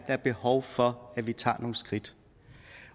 er behov for at vi tager nogle skridt